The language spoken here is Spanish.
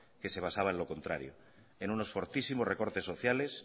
que se basaba en lo contrario en unos fortísimos recortes sociales